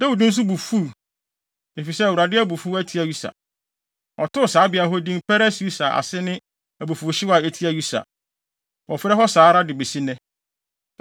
Dawid nso bo fuw, efisɛ Awurade abufuw atia Usa. Ɔtoo saa beae hɔ din Peres-Usa a ase ne abufuwhyew a etia Usa. Wɔfrɛ hɔ saa ara de besi nnɛ.